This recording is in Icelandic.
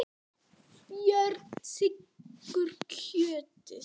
Björn þiggur kjötið.